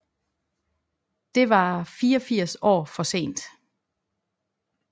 Det var 84 år for sent